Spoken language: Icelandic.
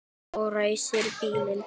Og ræsir bílinn.